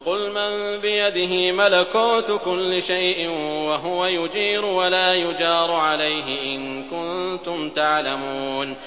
قُلْ مَن بِيَدِهِ مَلَكُوتُ كُلِّ شَيْءٍ وَهُوَ يُجِيرُ وَلَا يُجَارُ عَلَيْهِ إِن كُنتُمْ تَعْلَمُونَ